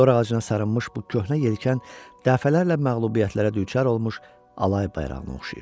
Dorağacına sarınmış bu köhnə yelkən dəfələrlə məğlubiyyətlərə düçar olmuş alay bayrağına oxşayırdı.